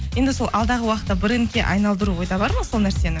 енді сол алдағы уақытта брендке айналдыру ойда бар ма сол нәрсені